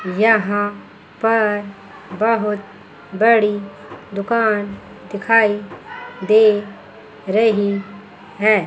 यहां पर बहोत बड़ी दुकान दिखाई दे रही हैैं।